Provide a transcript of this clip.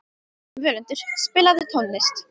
Völundur, spilaðu tónlist.